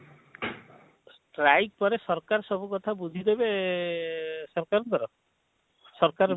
streik ପରେ ସରକାର ସବୁ କଥା ବୁଝିଦେବେ ଏଁ ଏଁ ସବକଙ୍କର ସରକାର